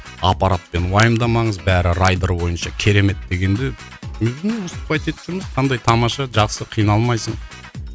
аппаратпен уайымдамаңыз барі райдер бойынша керемет дегенде мен білмеймін выступать етіп жүрміз қандай тамаша жақсы қиналмайсың